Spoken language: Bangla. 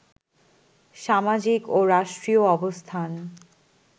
সামাজিক ও রাষ্ট্রীয় অবস্থান